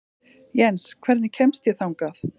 Jens, hvernig kemst ég þangað?